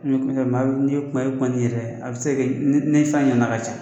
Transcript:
N'i bɛ kuma bɛ kuma n'i yɛrɛ ye a bɛ se ka kɛ ne jama ka ca